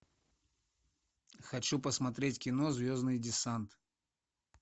хочу посмотреть кино звездный десант